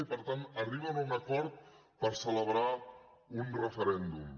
i per tant arriben a un acord per celebrar un referèndum